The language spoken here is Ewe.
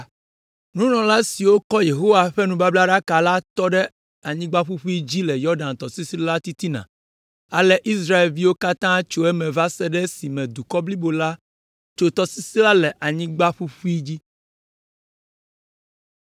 Nunɔla siwo kɔ Yehowa ƒe nubablaɖaka la tɔ ɖe anyigba ƒuƒui dzi le Yɔdan tɔsisi la titina, ale Israelviwo katã tso eme va se ɖe esime dukɔ blibo la tso tɔsisi la le anyigba ƒuƒu dzi.